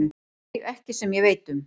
Nei, ekki sem ég veit um.